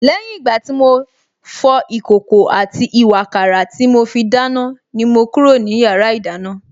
Lẹ́yìn ìgbà tí mo fọ ìkòkò àti ìwààkàrà tí mo fi dáná ni mo kúrò ní yàrá ìdáná